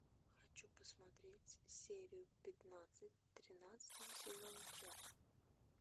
хочу посмотреть серию пятнадцать тринадцатого сезона чак